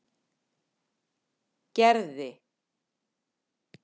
Gerði